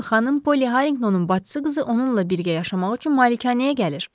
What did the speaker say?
Xanım Poly Harringtonun bacısı qızı onunla birgə yaşamaq üçün malikanəyə gəlir.